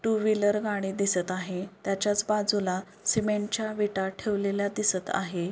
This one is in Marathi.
टू व्हीलर गाडी दिसत आहे त्याच्याच बाजूला सीमेंट च्या विटा ठेवलेल्या दिसत आहे.